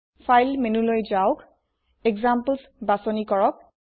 file menuলৈ যাওক examples বাচনি কৰক